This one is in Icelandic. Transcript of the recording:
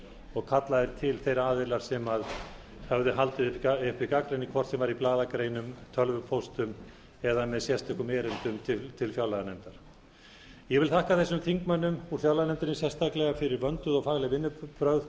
og kallaðir til þeir aðilar sem höfðu haldið uppi gagnrýni hvort sem var í blaðagreinum tölvupóstum eða með sérstökum erindum til fjárlaganefndar ég þakka þingmönnum í fjárlaganefnd sérstaklega fyrir vönduð og fagleg vinnubrögð